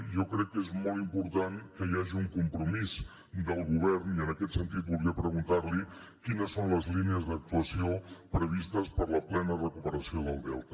jo crec que és molt important que hi hagi un compromís del govern i en aquest sentit volia preguntar li quines són les línies d’actuació previstes per a la plena recuperació del delta